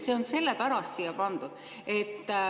See on sellepärast siia pandud.